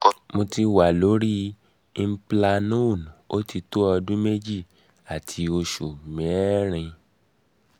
mo ti wà lórí implanon ó ti tó ọdún méjì àti oṣù mẹ́ẹ́rin